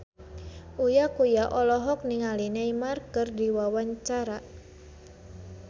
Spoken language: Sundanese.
Uya Kuya olohok ningali Neymar keur diwawancara